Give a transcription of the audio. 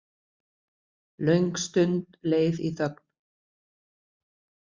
Löng stund leið í þögn.